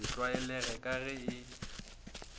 se tlwaelege ka ge e